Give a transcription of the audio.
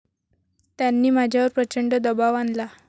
त्यांनी माझ्यावर प्रचंड दबाव आणला.